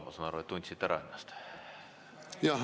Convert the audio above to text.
Ma saan aru, et te tundsite ennast ära.